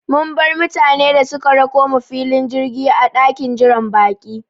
Mun bar mutane da suka rakomu filin jirgi a ɗakin jiran baƙi